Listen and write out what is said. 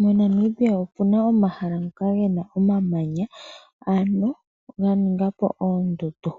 Mo Namibia omuna omahala ngoka gena omamanya ano ga ningapo oondundu.